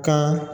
Kan